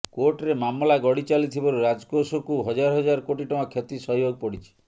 କୋର୍ଟରେ ମାମଲା ଗଡ଼ି ଚାଲିଥିବାରୁ ରାଜକୋଷକୁ ହଜାର ହଜାର କୋଟି ଟଙ୍କା କ୍ଷତି ସହିବାକୁ ପଡ଼ିଛି